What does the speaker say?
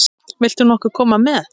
Vilt þú nokkuð koma með?